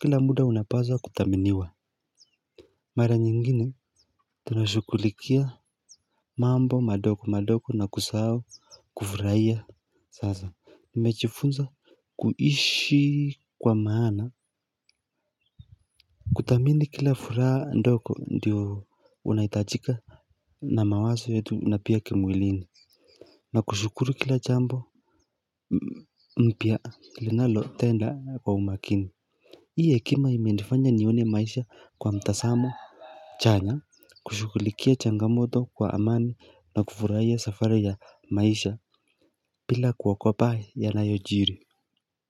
Kila muda unapaswa kuthaminiwa. Mara nyingine, tunashughulikia mambo madogo madogo na kusahau kufurahia Sasa. Mmejifunza kuishi kwa maana kuthamini kila furaha ndogo ndiyo unahitajika na mawazo yetu na pia kimwilini Nakushukuru kila jambo mpya linalotenda kwa umakini. Hii hekima imenifanya nione maisha kwa mtazamo chanya kushughulikia changamoto kwa amani na kufurahia safari ya maisha bila kuogopa yanayojiri.